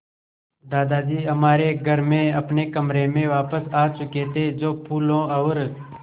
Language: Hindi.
दादाजी हमारे घर में अपने कमरे में वापस आ चुके थे जो फूलों और